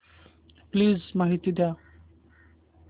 please माहिती द्या